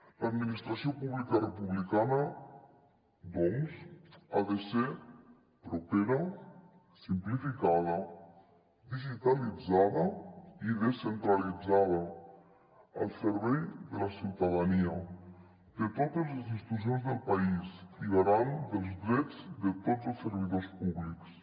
l’administració pública republicana doncs ha de ser propera simplificada digitalitzada i descentralitzada al servei de la ciutadania de totes les institucions del país i garant dels drets de tots els servidors públics